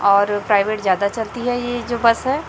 और प्राइवेट ज्यादा चलती है ये जो बस है।